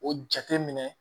O jate minɛ